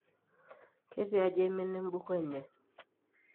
ketiaji eimina embuku enye?